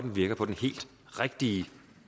virker på den helt rigtige